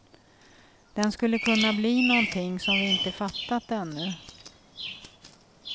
Den skulle kunna bli någonting som vi inte fattat ännu.